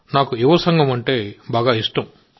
నాకు యువ సంగమం అంటే ఇష్టం